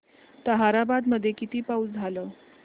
ताहराबाद मध्ये किती पाऊस झाला